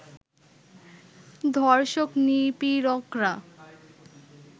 ধর্ষক-নিপীড়করা